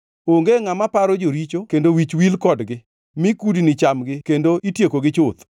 Onge ngʼama paro joricho kendo wich wil kodgi; mi kudni chamgi kendo itiekogi chuth.